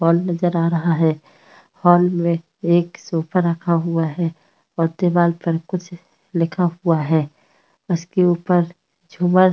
hall नजर आ रहा है हॉल में एक सोफा रखा हुआ है और दीवार पर कुछ लिखा हुआ है उसके ऊपर झूमर --